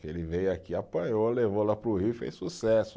Que ele veio aqui, apanhou, levou lá para o Rio e fez sucesso.